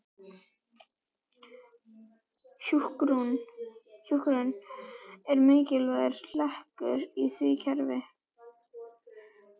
Hjúkrun var mikilvægur hlekkur í því verkefni.